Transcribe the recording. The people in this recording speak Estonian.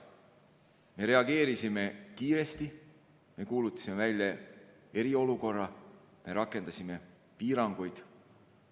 Me reageerisime kiiresti, me kuulutasime välja eriolukorra, me rakendasime piiranguid.